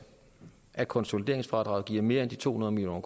at konsolideringsfradraget giver mere end de to hundrede million